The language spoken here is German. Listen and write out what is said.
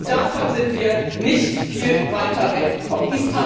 Und davon sind wir nicht viel weiter weggekommen.